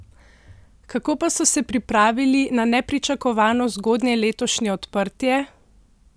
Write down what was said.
Kako pa so se pripravili na nepričakovano zgodnje letošnje odprtje?